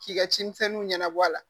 K'i ka cimisɛnninw ɲɛnabɔ a la